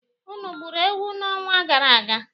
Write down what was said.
Unu egburu ewu n'ọnwa gara aga?